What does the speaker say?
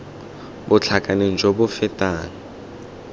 bo tlhakaneng jo bo fetang